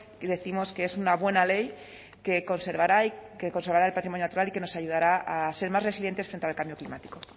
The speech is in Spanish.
decimos que es una buena ley que conservará el patrimonio natural y que nos ayudará a ser más resilientes frente al cambio climático